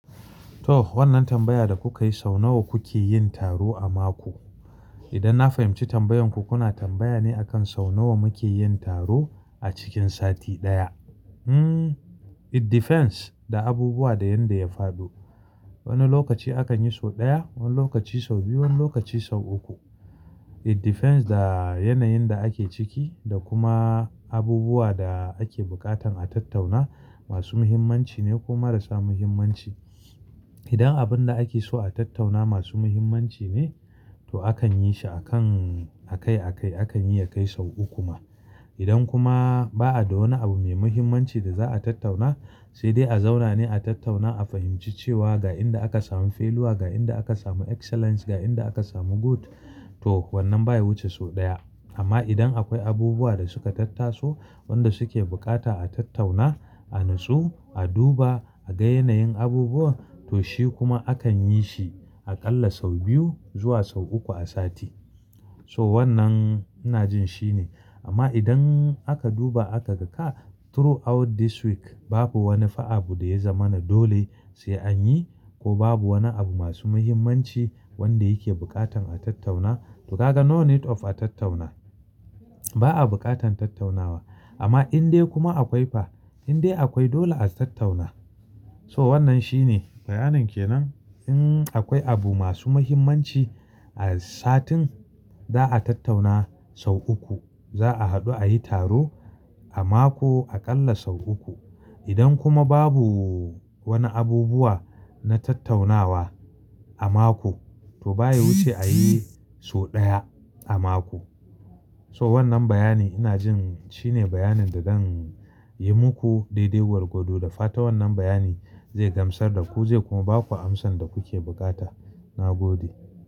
To wannan tambaya da kuka yi, sau nawa kuke yin taro a mako? Idan na fahimci tambayarku, kuna tambaya ne akan sau nawa muke yin taro a cikin sati ɗaya. Hmm, it depends da abubuwa da yadda ya faɗo. Wani lokaci akan yi sau ɗaya, wani lokaci sau biyu, wani lokaci sau uku. It depends da yanayin da ake ciki da kuma abubuwa da ake buƙatan a tattauna masu muhimmanci ne ko marasa muhimmanci. Idan abun da ake so a tattauna masu muhimmanci ne, to akan yi shi akan a kai a kai akan yi ya kai sau uku ma. Idan kuma ba'a da wani abu mai muhimmanci da za'a tattauna, sai dai a zauna ne a tattauna a fahimci cewa ga inda aka samu feluwa, ga inda aka samu excellence, ga inda aka samu good to wannan baya wuce sau ɗaya. Amma idan akwai abubuwa da suka tattaso wanda suke bukata a tattauna, a natsu, a duba, a ga yanayin abubuwan to shi kuma akan yi shi aƙalla sau biyu zuwa sau uku a sati. So wannan ina jin shi ne. Amma idan aka duba aka ga through out this week babu wani fa'abu da ya zama na dole sai an yi ko babu wani abu masu muhimmanci wanda yake buƙatan a tattauna to ka ga no need of a tattauna. Ba'a buƙatan tattaunawa. Amma in dai kuma akwai fa, in dai akwai dole a tattauna. So wannan shi ne bayanin ke nan. In akwai abu masu muhimmanci a satin za'a tattauna sau uku. Za'a haɗu a yi taro a mako aƙalla sau uku. Idan kuma babu wani abubuwa na tattaunawa a mako to baya wuce a yi sau ɗaya a mako. So wannan bayani ina jin shi ne bayanin da zan yi muku daidai gwargwado da fata wannan bayani zai gamsar da ku zai kuma ba ku amsan da kuke buƙata. Na gode.